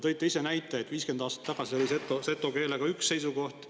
Te ise tõite näite, et 50 aastat tagasi oli seto keele kohta üks seisukoht.